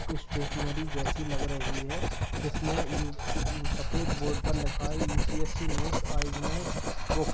कुछ स्टेशनरी जैसी लग रही है जिसमें यू सफेद बोर्ड पर लिखा है यू.पी.एस.सी. Notes books --